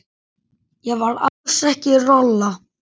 Ég var alls engin rola.